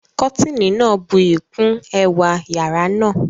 Kọ́tìnì náà buyì kún ẹwà yàrá náà